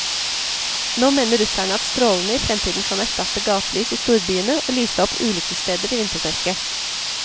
Nå mener russerne at strålene i fremtiden kan erstatte gatelys i storbyene og lyse opp ulykkessteder i vintermørket.